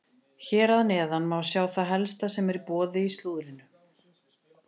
Hér að neðan má sjá það helsta sem er í boði í slúðrinu.